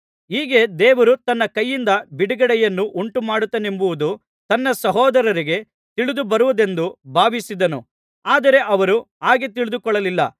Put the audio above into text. ಹೀಗೆ ದೇವರು ತನ್ನ ಕೈಯಿಂದ ಬಿಡುಗಡೆಯನ್ನು ಉಂಟುಮಾಡುತ್ತಾನೆಂಬುದು ತನ್ನ ಸಹೋದರರಿಗೆ ತಿಳಿದುಬರುವುದೆಂದು ಭಾವಿಸಿದನು ಆದರೆ ಅವರು ಹಾಗೆ ತಿಳಿದುಕೊಳ್ಳಲಿಲ್ಲ